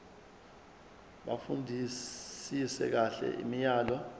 bafundisise kahle imiyalelo